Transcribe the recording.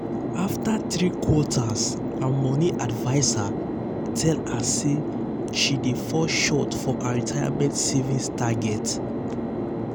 after three quarters her money adviser tell her say she dey fall short for her retirement savings target.